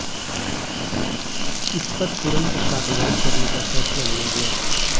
इस पर तुरंत कार्रवाई करने का फैसला लिया गया